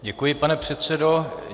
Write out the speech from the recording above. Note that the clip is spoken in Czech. Děkuji, pane předsedo.